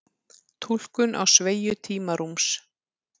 túlkun á sveigju tímarúms